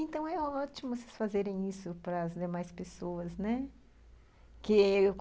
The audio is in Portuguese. Então, é ótimo vocês fazerem isso para as demais pessoas, né? que